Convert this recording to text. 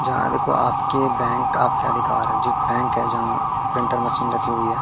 जहां देखो आपके बैंक आपका अधिकार बैंक है जहां प्रिंटर मशीन रखी हुई है।